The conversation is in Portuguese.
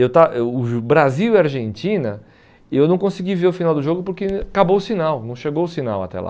Eu estava eu O Brasil e a Argentina, eu não consegui ver o final do jogo porque acabou o sinal, não chegou o sinal até lá.